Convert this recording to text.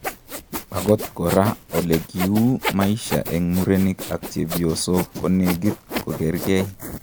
Akot koraa ,olekiuu maisha eng murenik ak chephosok konekit kogerkei